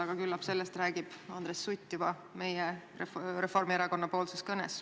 Aga küllap sellest räägib Andres Sutt Reformierakonna esindajana oma kõnes.